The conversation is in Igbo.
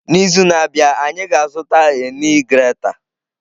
N'izu na-abịa anyị ga-azụta a nee grater.